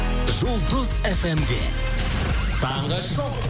жұлдыз фмде таңғы шоу